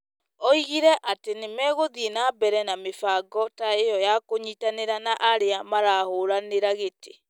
oigire atĩ nĩ megũthiĩ na mbere na mĩbango ta ĩyo ya kũnyitanĩra na arĩa marahũranĩra gĩtĩ,